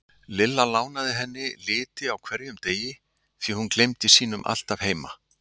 Lilla lánaði henni liti á hverjum degi því hún gleymdi sínum alltaf heima.